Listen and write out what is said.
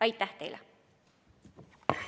Aitäh teile!